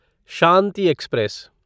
Shanti express